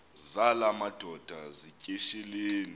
zala madoda yityesheleni